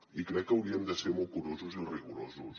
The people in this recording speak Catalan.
i crec que hauríem de ser molt curosos i rigorosos